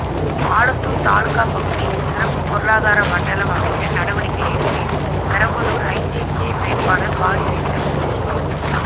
ஆலத்தூர் தாலுகா பகுதியில் சிறப்பு பொருளாதார மண்டலம் அமைக்க நடவடிக்கை எடுப்பேன் பெரம்பலூர் ஐஜேகே வேட்பாளர் பாரிவேந்தர் உறுதி